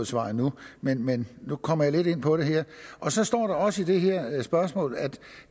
svar endnu men men nu kommer jeg lidt ind på det her så står der også i det her spørgsmål at